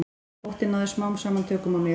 Óttinn náði smám saman tökum á mér.